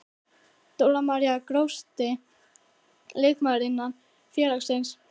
Dóra María Grófasti leikmaður innan félagsins?